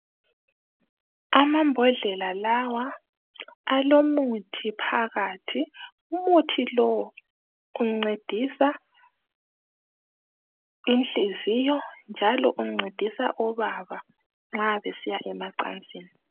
Amambodlela lawa alomuthi phakathi umuthi lo uncedisa inhliziyo njalo uncedisa obaba nxa besiya emacansini.